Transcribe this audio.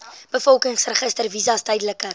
bevolkingsregister visas tydelike